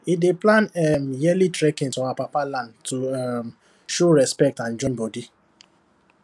he dey plan um yearly trekking to our papa land to um show respect and join body